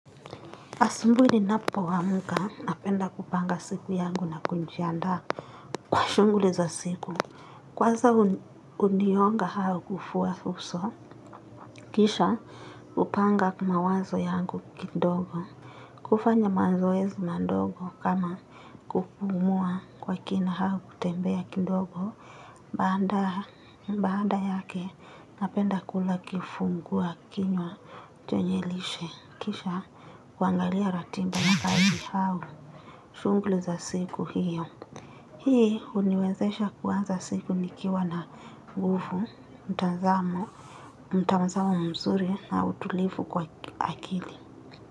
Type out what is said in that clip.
Asumbuli ninapoamka napenda kupanga siku yangu na kunjiandaa kwa shunguli za siku. Kwaza uniyonga hao kufua huso, kisha kupanga mawazo yangu kidogo. Kufanya manzoezi mandogo kama kupumua kwa kina hao kutembea kidogo. Mbaanda yake napenda kula kifungua kinywa chenye lishe kisha kuangalia ratimba na kaji hau. Shunguli za siku hiyo. Hii huniwezesha kuanza siku nikiwa na ngufu, mtanzamo, mtanzamo mzuri na utulifu kwa akili.